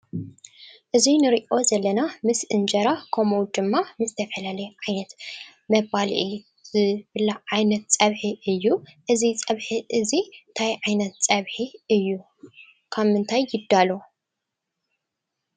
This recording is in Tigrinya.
እዚ እንሪኦ ዘለና ምስ እንጀራ ከምኡ ድማ ምስ ዝተፈላለየ ዓይነት መባልዒ ዝብላዕ ዓይነት ፀብሒ እዩ። እዚ ፀብሒ እዚ እንታይ ዓይነት ፀብሒ እዩ ? ካብ ምንታይ ይዳሎ ?